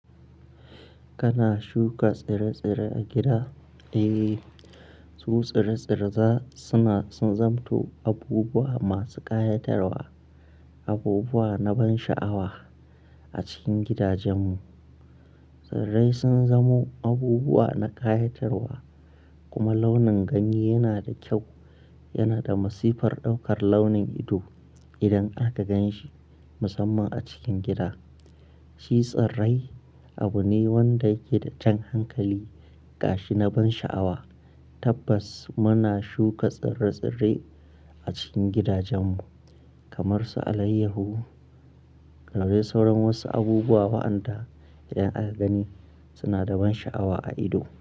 Kana shuka tsire-tsire a gida? Eh, su tsire-tsire za suna sun zanto abubuwa masu ƙayatarwa, abubuwa na ban sha'awa a cikin gidajenmu. Tsirrai sun zamo abubuwa na ƙayatarwa, kuma launin ganye yana da kyau, yana da masifar ɗaukar launin ido idan aka gan shi, musamman a cikin gida. Shi tsirrai abu ne wanda yake da jan hankali ga shi na ban sha'awa. Tabbas muna shuka tsire-tsire a cikin gidajenmu kamar su alayyahu da dai sauran wasu abubuwa waɗanda da aka gani suna da ban sha'awa a ido.